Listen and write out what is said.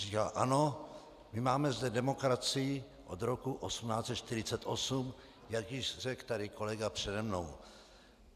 Říkal: "Ano, my máme zde demokracii od roku 1848," jak již řekl tady kolega přede mnou.